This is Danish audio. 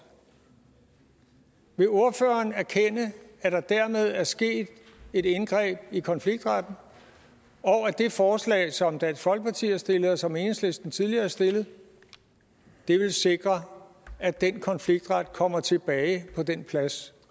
vil ordføreren erkende at der dermed er sket et indgreb i konfliktretten og at det forslag som dansk folkeparti har stillet og som enhedslisten tidligere har stillet vil sikre at den konfliktret kommer tilbage på den plads